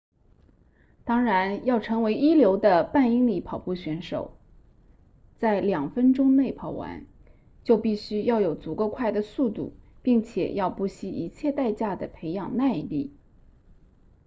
当然要成为一流的半英里跑步选手在两分钟内跑完就必须要有足够快的速度并且要不惜一切代价地培养耐力